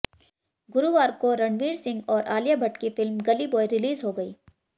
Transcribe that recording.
गुरुवार को रणवीर सिंह और आलिया भट्ट की फ़िल्म गली बॉय रिलीज़ हो गयी